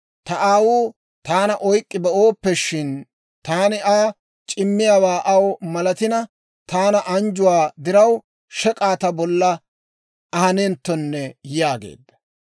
Ta aawuu taana oyk'k'i be'ooppe shin? Taani Aa c'immiyaawaa aw malatina, taani anjjuwaa diraw shek'aa ta bolla ahanenttone» yaageedda.